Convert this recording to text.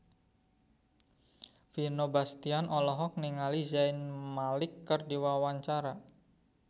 Vino Bastian olohok ningali Zayn Malik keur diwawancara